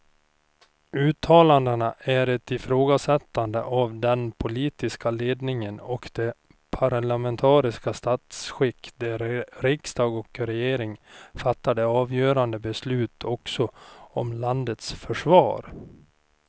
Uttalandena är ett ifrågasättande av den politiska ledningen och det parlamentariska statsskick där riksdag och regering fattar de avgörande besluten också om landets försvar.